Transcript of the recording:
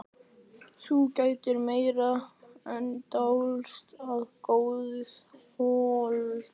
Þú gerðir meira en dást að góðu holdi.